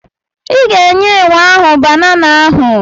I ga-enye enwe ahụ banana ahụ.